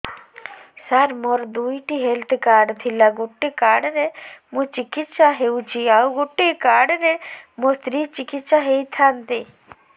ସାର ମୋର ଦୁଇଟି health card ଥିଲା ଗୋଟେ କାର୍ଡ ରେ ମୁଁ ଚିକିତ୍ସା ହେଉଛି ଆଉ ଗୋଟେ କାର୍ଡ ରେ ମୋ ସ୍ତ୍ରୀ ଚିକିତ୍ସା ହୋଇଥାନ୍ତେ